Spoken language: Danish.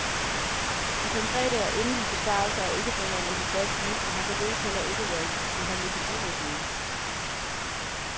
De konkrete og endelige besparelser er ikke forhandlet på plads endnu og har således heller ikke været behandlet på byrådsmøde.